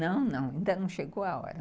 Não, não, ainda não chegou à hora.